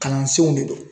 Kalansenw de don